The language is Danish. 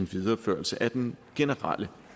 videreførelse af den generelle